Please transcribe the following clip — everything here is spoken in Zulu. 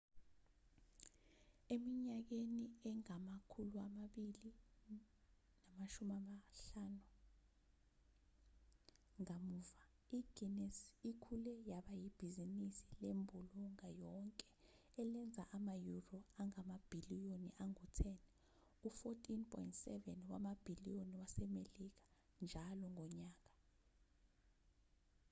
eminyakeni engama-250 kamuva i-guinness ikhule yaba ibhizinisi lembulunga yonke elenza ama-euro angamabhiliyoni angu-10 u-$14.7 wamabhiliyoni wasemelika njalo ngonyaka